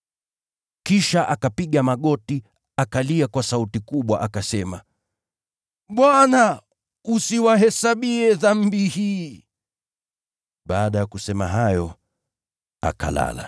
Kisha akapiga magoti, akalia kwa sauti kubwa akasema, “Bwana usiwahesabie dhambi hii.” Baada ya kusema hayo, akalala.